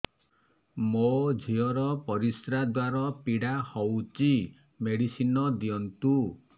ମୋ ଝିଅ ର ପରିସ୍ରା ଦ୍ଵାର ପୀଡା ହଉଚି ମେଡିସିନ ଦିଅନ୍ତୁ